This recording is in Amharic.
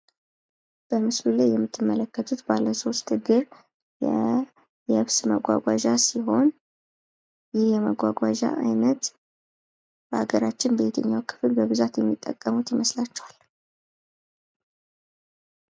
በምስሉ ላይ የምትመለከቱት ባለ 3 እግር የየብስ መጓጓዣ ሲሆን ይህ የማጓጓዣ አይነት በአገራችን በብዛት በየት አካባቢ የሚጠቀሙት ይመስላችኋል?